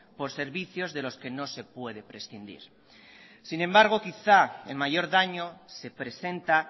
por servicios de los que no se puede prescindir sin embargo quizá el mayor daño se presenta